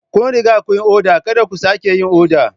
Kun riga kun yi oda, Kada ku sake yin oda.